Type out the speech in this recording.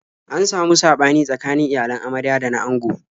An samu saɓani tsakanin iyalan amarya da na ango.